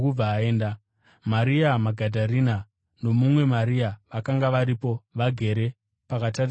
Maria Magadharena nomumwe Maria vakanga varipo vagere pakatarisana neguva.